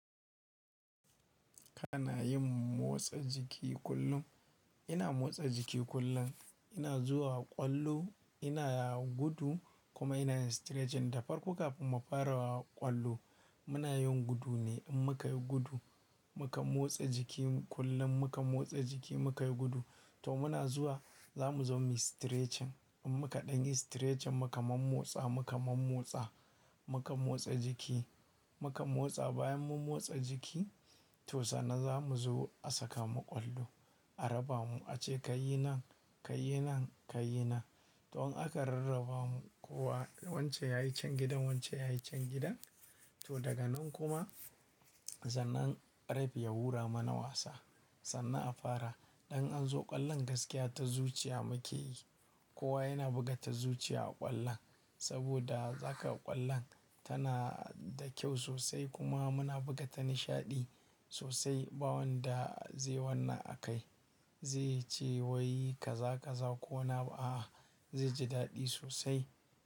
Kana yin motsa jiki kullum? Ina motsa jiki kullum. Ina zuwa ƙwallo, ina gudu kuma ina yin stretching. Da farko kafin mu fara ƙwallo, muna yin gudu ne. In muka yi gudu, muka motsa jiki kullum muka motsa jiki muka yi gudu, to muna zuwa za mu zo mu yi stretching. In muka danyi stretching muka man motsa muka man motsa muka motsa jiki muka motsa bayan mun motsa jiki to sannan za mu zo a saka mu ƙwallo. A raba mu ace kai yi nan, kai yi nan, kai yi nan. To in aka rarraba mu kowa wancen ya yi cen gidan wancen ya yi cen gidan, to daga nan kuma sannan ref ya hura mana wasa. Sannan a fara. Idan an zo ƙwallon gaskiya ta zuciya muke yi. Kowa yana buga ta zuciya a ƙwallon saboda za kaga ƙwallon tana da kyau sosai kuma muna buga ta da nishaɗi sosai. Bawan da zai wannan a kai zai ce wai ka za ka za ko wani abu a, a zai ji daɗi sosai.